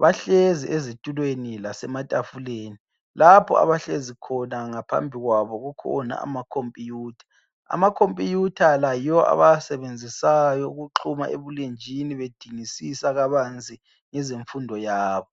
bahlezi ezitulweni lasematafuleni lapho abahlezi khona ngaphambi kwabo kukhona ama computer ama computer la yiwo abawasebenzisayo ukuxhuma ebulenjini bedingisisa kabanzi ngezemfundo yabo.